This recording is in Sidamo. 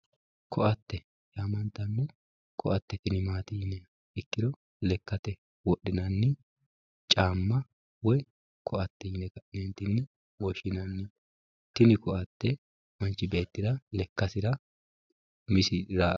koatte yaamantanno koatte tini maati yiniha ikkiro lekkate wodhinanni caamma woyi koatte yine ka'neentinni woshshinanni tini koatte manchi beettira lekkasira umisi ra...